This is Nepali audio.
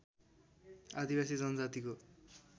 आदिवासी जनजातिको